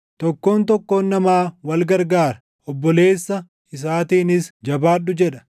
tokkoon tokkoon namaa wal gargaara; obboleessa isaatiinis, “Jabaadhu!” jedha.